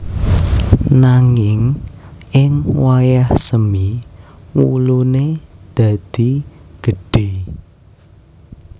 Nanging ing wayah semi wulune dadi gedhe